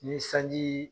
Ni sanji